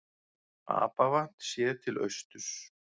Apavatn séð til austurs.